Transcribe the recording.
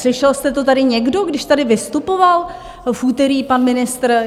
Slyšel jste to tady někdo, když tady vystupoval v úterý pan ministr?